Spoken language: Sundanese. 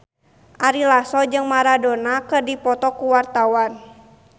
Ari Lasso jeung Maradona keur dipoto ku wartawan